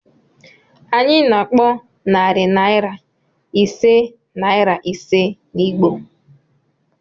Anyị na-akpọ narị naira ise naịra ise na Igbo.